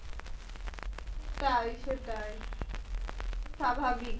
সেটাই সেটাই স্বাভাবিক।